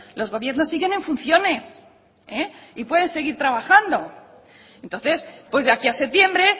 los gobiernos siguen en funciones y pueden seguir trabajando entonces pues de aquí a septiembre